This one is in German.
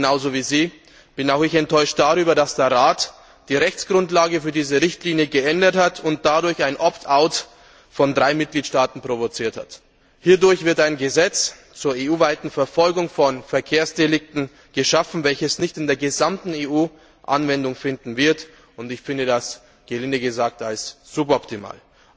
Genauso wie sie bin auch ich enttäuscht darüber, dass der Rat die Rechtsgrundlage für diese Richtlinie geändert und dadurch ein Opt out von drei Mitgliedstaaten provoziert hat. Hierdurch wird ein Gesetz zur EU weiten Verfolgung von Verkehrsdelikten geschaffen, welches nicht in der gesamten EU Anwendung finden wird, und ich erachte dies gelinde gesagt für suboptimal.